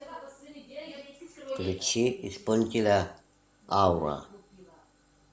включи исполнителя аура